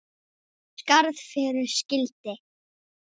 Skarð fyrir skildi.